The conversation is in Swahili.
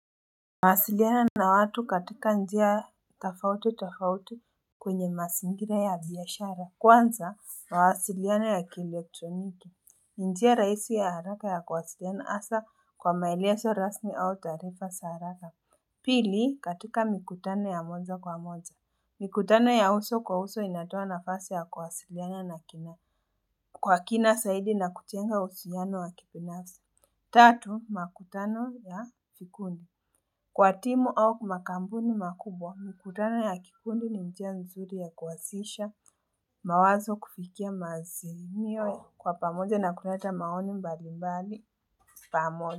Nawasiliana na watu katika njia tofauti tofauti kwenye mazingira ya bizashara Kwanza mawasiliana ya kielekroniki njia rahisi ya haraka ya kuwasiliana hasa kwa maile so rasmi au taarifa za haraka Pili katika mikutano ya moja kwa moja Mikutano ya uso kwa uso inatoa nafasi ya kuwasiliana na kina Kwa kina zaidi nakujenga uhusiano wa kibinafsi Tatu makutano ya kikundi Kwa timu au makampuni makubwa mkutana ya kifundi ni njia nzuri ya kwasisha mawazo kufikia maziniwe kwa pamoja na kunata maoni mbali mbali pamoja.